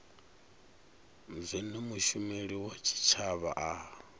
zwine mushumeli wa tshitshavha a